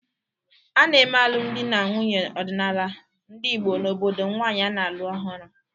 A na-eme alụmdi na nwunye ọdịnala ndị Igbo n’obodo nwanyị a na-alụ ọhụrụ.